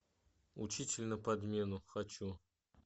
учитель на подмену хочу